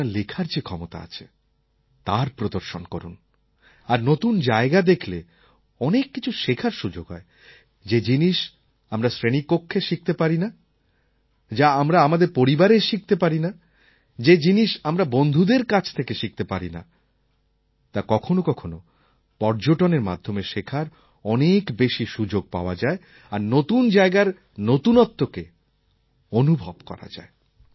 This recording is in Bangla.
আপনার লেখার যে ক্ষমতা আছে তার প্রদর্শন করুন আর নতুন জায়গা দেখলে অনেক কিছু শেখার সুযোগ হয় যে জিনিস আমরা শ্রেণিকক্ষে শিখতে পারি না যা আমরা আমাদের পরিবারে শিখতে পারি না যে জিনিস আমরা বন্ধুদের কাছ থেকে শিখতে পারি না তা কখনও কখনও পর্যটনের মাধ্যমে শেখার অনেক বেশি সুযোগ পাওয়া যায় আর নতুন জায়গার নতুনত্বকে অনুভব করা যায়